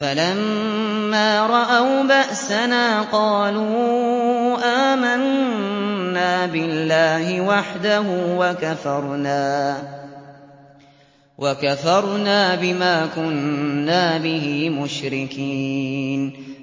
فَلَمَّا رَأَوْا بَأْسَنَا قَالُوا آمَنَّا بِاللَّهِ وَحْدَهُ وَكَفَرْنَا بِمَا كُنَّا بِهِ مُشْرِكِينَ